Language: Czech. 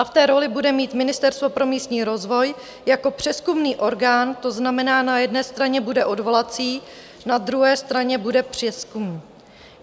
A v té roli bude mít Ministerstvo pro místní rozvoj jako přezkumný orgán, to znamená na jedné straně bude odvolací, na druhé straně bude přezkumný.